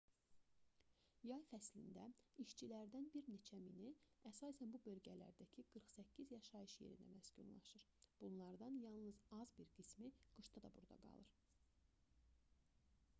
yay fəslində işçilərdən bir neçə mini əsasən bu bölgələrdəki qırx səkkiz yaşayış yerində məskunlaşır bunlardan yalnız az bir qismi qışda da burada qalır